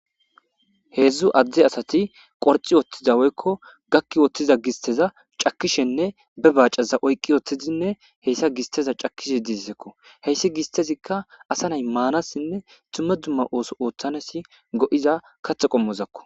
Heedzdzu adde asati qorci woththizaweykko gakki wooththiza gisteza cakishenne be baacaza oyqqi ooththizinne heyssa gisteza cakishe disekko heyssi gistezikka asa nay maanassinne tumme dumma ooso ooththanesi go7iza kathe qommozakko